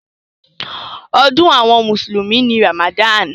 Ọdún àwọn mùsùlùmí ni Ramadan.